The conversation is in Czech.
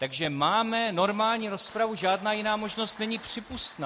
Takže máme normální rozpravu, žádná jiná možnost není přípustná.